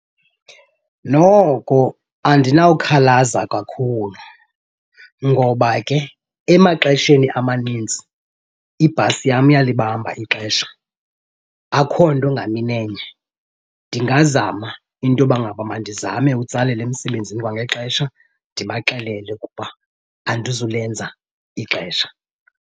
Noko andinawukhalaza kakhulu ngoba ke emaxesheni amanintsi ibhasi yam iyalibamba ixesha, akho nto ngamini enye. Ndingazama into yoba ngaba mandizame utsalela emsebenzini kwangexesha ndibaxelele ukuba andizulenza ixesha.